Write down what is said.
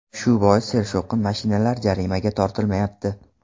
Shu bois sershovqin mashinalar jarimaga tortilmayapti.